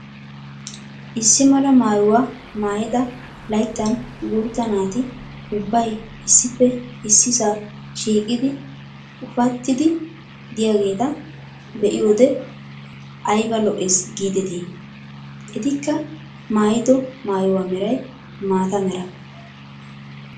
Issi mala maayuwaa maayida layttan guutta naati ubbay issippe issisaa shiiqidi ufattiidi de'iyaageta be'iyoode ayba lo"ees gideetii! etikka maayido maayuwaa meeray mata mera.